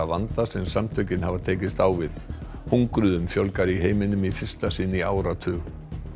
vanda sem samtökin hafa tekist á við hungruðum fjölgar í heiminum í fyrsta sinn í áratug